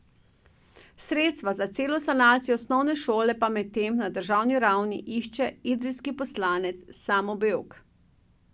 Sredstva za celovito sanacijo osnovne šole pa medtem na državni ravni išče idrijski poslanec Samo Bevk.